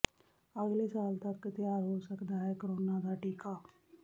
ਅਗਲੇ ਸਾਲ ਤਕ ਤਿਆਰ ਹੋ ਸਕਦਾ ਹੈ ਕੋਰੋਨਾ ਦਾ ਟੀਕਾ